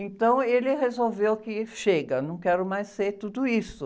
Então ele resolveu que chega, não quero mais ser tudo isso.